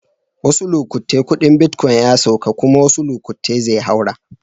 Wassu lokatai kudin bitcoin ya sauka kuma wasuu lokatai zai haura.